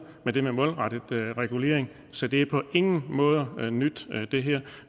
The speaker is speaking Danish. med det med målrettet regulering så det her er på ingen måder nyt